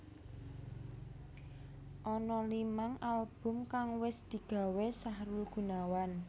Ana limang album kang wis digawé Sahrul Gunawan